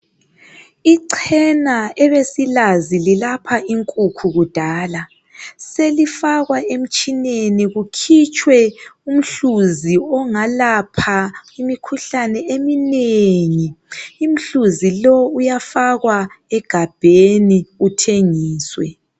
Ichena ebesilazi lilapha inkukhu kudala selifakwa emtshineni kukhitshwe umhluzi ongalapha imikhuhlane eminengi. Umhluzi lowu uyafakwa egabheni uthengiswe.